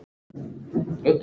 Fjölnir kann sitt fag.